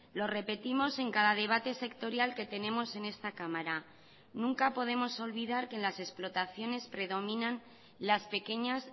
lo repetimos en cada debate sectorial que tenemos en esta cámara nunca podemos olvidar que en las explotaciones predominan las pequeñas